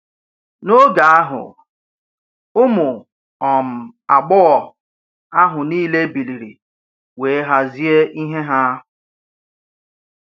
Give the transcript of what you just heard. N’oge ahụ, ụmụ um agbọghọ̀ ahụ niile biliri wee hazie ìhè ha.